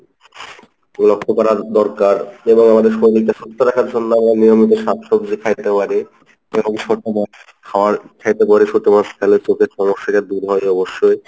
লক্ষ্য করা দরকার এবং আমাদের শরীরকে সুস্থ রাখার জন্য আমরা নিয়মিত শাক সবজি খাইতে পারি এবং ছোট মাছ খাওয়া খাইতে পারি ছোট মাছ ছোট মাছ খেলে চোখের সমস্যাটা দূর হয় অবশ্যই।